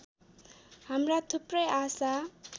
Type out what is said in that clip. हाम्रा थुप्रै आशा